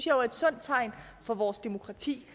jo er et sundt tegn på vores demokrati